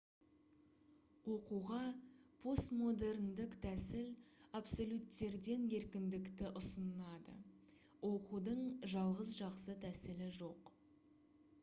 оқуға постмодерндік тәсіл абсолюттерден еркіндікті ұсынады оқудың жалғыз жақсы тәсілі жоқ